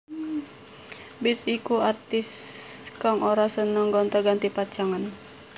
Bips iku artis kang ora seneng gonta ganti pacangan